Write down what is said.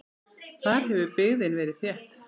Þar hefur byggðin verið þétt.